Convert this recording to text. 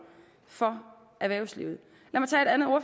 for erhvervslivet